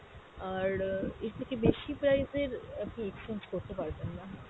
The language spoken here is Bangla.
আর আহ এর থেকে বেশি price এর আপনি exchange করতে পারবেন না।